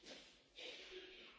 Señor presidente